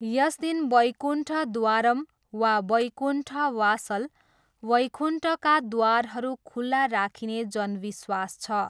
यस दिन वैकुण्ठद्वारम् वा वैकुण्ठ वासल, 'वैकुण्ठका द्वारहरू' खुला राखिने जनविश्वास छ।